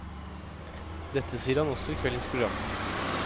Dette sier han også i kveldens program.